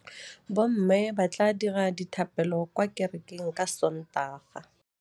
Bommê ba tla dira dithapêlô kwa kerekeng ka Sontaga.